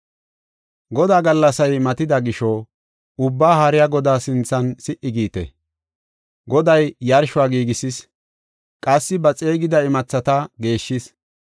Godaa gallasay matida gisho, Ubbaa Haariya Godaa sinthan si77i giite! Goday yarshuwa giigisis; qassi ba xeegida imathata geeshshis.